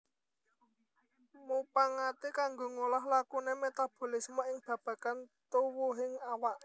Mupangaté kanggo ngolah lakuné metabolisme ing babagan tuwuhing awak